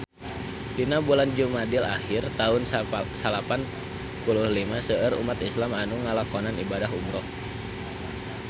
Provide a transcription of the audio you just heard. Dina bulan Jumadil ahir taun salapan puluh lima seueur umat islam nu ngalakonan ibadah umrah